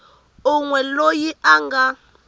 un we loyi a nga